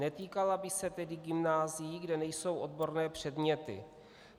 Netýkala by se tedy gymnázií, kde nejsou odborné předměty.